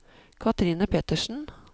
Kathrine Pettersen